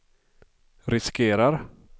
riskerar